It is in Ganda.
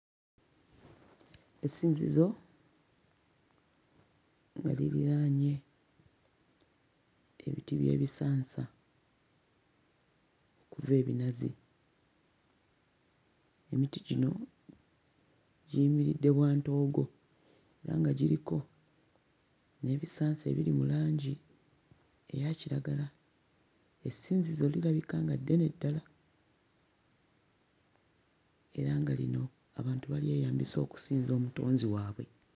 Essinziso nga liriraanye ebiti by'ebisansa kuva ebinazi. Emiti gino giyimiridde bwantoogo era nga giriko n'ebisansa ebiri mu langi eya kiragala. Essinzizo lirabika nga ddene ddala era nga lino abantu balyeyambisa okusinza omutonzi waabwe.